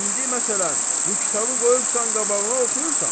İndi məsələn, bu kitabı qoyubsan qabağına oxuyursan.